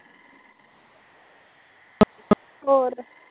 ਹੋਰ